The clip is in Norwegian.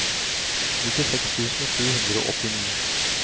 nittiseks tusen sju hundre og åttini